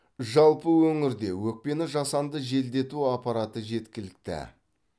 жалпы өңірде өтпені жасанды желдету аппараты жеткілікті